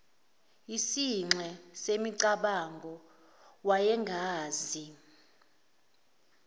yisinxe semicabango wayengazi